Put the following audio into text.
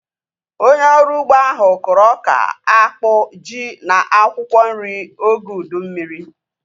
Onye ọrụ ugbo ahu kụrụ ọka, akpụ, ji na akwụkwọ nri oge ụdị mmiri